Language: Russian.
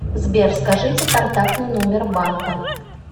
сбер скажите контактный номер банка